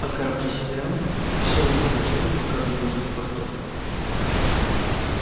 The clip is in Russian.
а корабли северян всё ужесточали блокаду южных портов